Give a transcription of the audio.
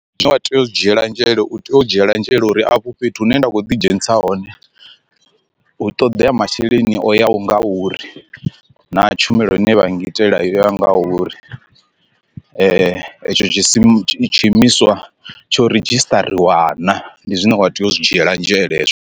Zwine wa tea u dzhiela nzhele u tea u dzhiela nzhele uri afho fhethu hu ne nda khou ḓidzhenisa hone hu ṱoḓea masheleni o yaho nga uri na tshumelo ine vha ngitele ya nga uri, etsho tshisima tshiimiswa tsho ridzhistariwa naa ndi zwine wa tea u zwi dzhiela nzhele hezwo.